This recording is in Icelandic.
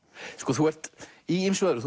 þú ert í ýmsu öðru